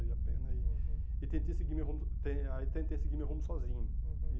a pena e, uhum, e tentei seguir meu rumo ten aí tentei seguir meu rumo sozinho. Uhum